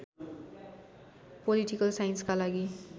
political साइन्सका लागि